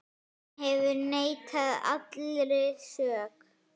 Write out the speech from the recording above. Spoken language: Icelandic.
Hann hefur neitað allri sök.